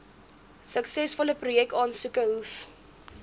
suksesvolle projekaansoeke hoef